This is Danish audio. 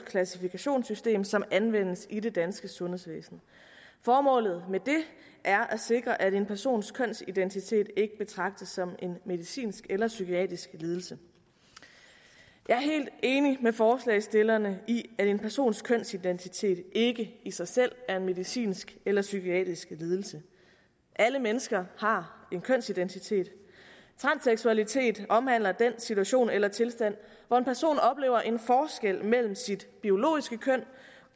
klassifikationssystem som anvendes i det danske sundhedsvæsen formålet med det er at sikre at en persons kønsidentitet ikke betragtes som en medicinsk eller psykiatrisk lidelse jeg er helt enig med forslagsstillerne i at en persons kønsidentitet ikke i sig selv er en medicinsk eller psykiatrisk lidelse alle mennesker har en kønsidentitet transseksualitet omhandler den situation eller tilstand hvor en person oplever en forskel mellem sit biologiske køn